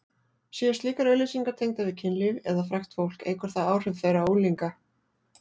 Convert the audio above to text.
Séu slíkar auglýsingar tengdar við kynlíf eða frægt fólk eykur það áhrif þeirra á unglinga.